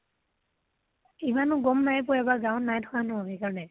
ইমানো গম নাই পোৱা এইবাৰ গাঁৱ্ত নাই থকা ন, সেইকাৰণে।